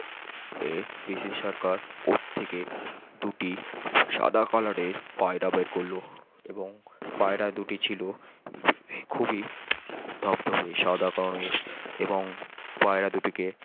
এ PC Sorcar উপর থেকে দুটি সাদা কালারের পায়রা বের করল এবং পায়রা দুটি ছিল খুবই সাদা কারণ এর এবং পায়রা দুটিকে